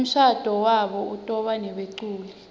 umshado wabo utobanebeculi